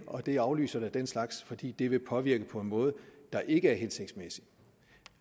og det aflyser da den slags afstemninger fordi det vil påvirke på en måde der ikke er hensigtsmæssig